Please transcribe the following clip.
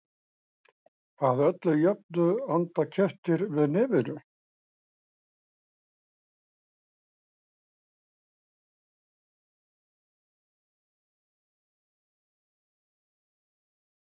Að öllu jöfnu anda kettir með nefinu.